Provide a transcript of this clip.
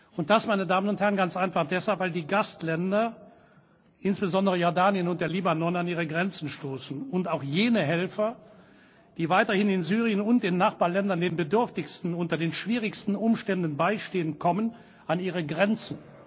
Und das, meine Damen und Herren, ganz einfach deshalb, weil die Gastländer, insbesondere Jordanien und der Libanon, an ihre Grenzen stoßen, und auch jene Helfer, die weiterhin in Syrien und den Nachbarländern den Bedürftigsten unter den schwierigsten Umständen beistehen, kommen an ihre Grenzen.